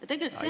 Aitäh!